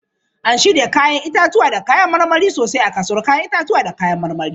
An shirya 'ya'yan itatuwa da kayan marmari sosai a kasuwar 'ya'yan itatuwa da kayan marmari.